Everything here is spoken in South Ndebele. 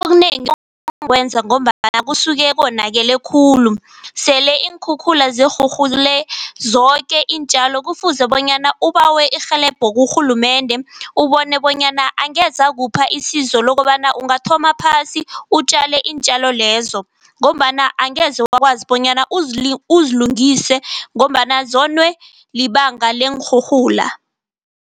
Okunengi ngombana kusuke konakele khulu. Sele iinkhukhula sirhurhule zoke iintjalo kufuze bonyana ubawe irhelebho kurhulumende, ubone bonyana angeze akupha isizo lokobana ungathoma phasi utjale iintjalo lezo, ngombana angeze wakwazi bonyana uzilungise ngombana zonwe libanga leenrhurhula.